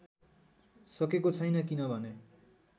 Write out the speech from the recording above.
सकेको छैन किनभने